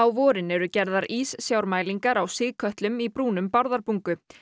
vorin eru gerðar íssjármælingar á sigkötlum í brúnum Bárðarbungu